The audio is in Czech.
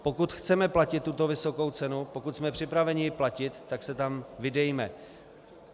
Pokud chceme platit tuto vysokou cenu, pokud jsme připraveni ji platit, tak se tam vydejme.